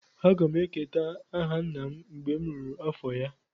M ga-eketa aha nna m mgbe m ruru afọ ya